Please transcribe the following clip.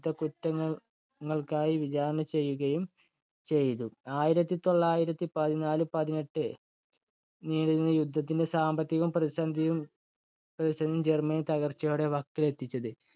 യുദ്ധക്കുറ്റങ്ങള്‍ങ്ങള്‍ക്കായി വിചാരണ ചെയ്യുകയും ചെയ്തു. ആയിരത്തി തൊള്ളായിരത്തി പതിനാല് പതിനെട്ട് നീണ്ടുനിന്ന യുദ്ധത്തിന്റെ സാമ്പത്തിക പ്രതിസന്ധിയും ജര്‍മ്മനി തകർച്ചയുടെ വക്കിലെത്തിച്ചത്.